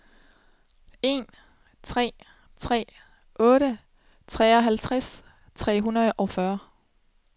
en tre tre otte tooghalvtreds tre hundrede og fyrre